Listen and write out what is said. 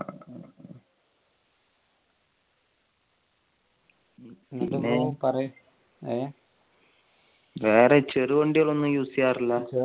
പിന്നെ വേറെ ചെറു വണ്ടികൾ ഒന്നും use ചെയ്യാറില്ല.